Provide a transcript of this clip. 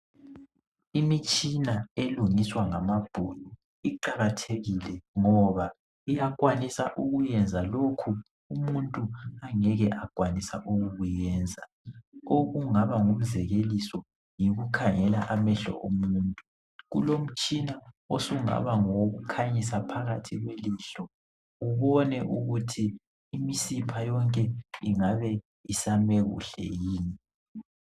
Imitshina elungiswa ngabelungu iqakathekile ngoba iyakwanisa ukwenza lokho umuntu angeke akwenelise okungaba ngumzekeliso yikukhangela amehlo omuntu. Kulomtshina osungaba ngowokukhanyisa phakathi kwelihlo ubone ukuthi imisipha yonke ingaba isame kuhle yini.